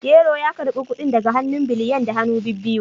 Yero ya karbi kudin daga hannun Biliyan da hannu bibbiyu